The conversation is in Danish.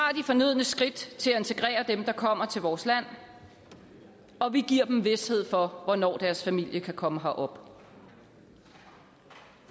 fornødne skridt til at integrere dem der kommer til vores land og vi giver dem vished for hvornår deres familier kan komme herop